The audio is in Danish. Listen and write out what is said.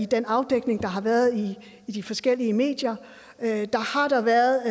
den afdækning der har været i de forskellige medier har været